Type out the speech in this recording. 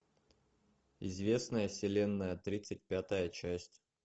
известная вселенная тридцать пятая часть